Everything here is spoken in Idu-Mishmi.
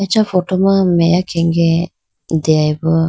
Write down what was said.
acha photo ma meya khenge deyabo.